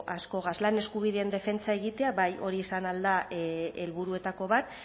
askogaz lan eskubideen defentsa egitea bai hori izan ahal da helburuetako bat